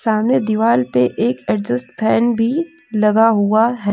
सामने दीवार पे एक एडजेस्ट फैन भी लगा हुआ है।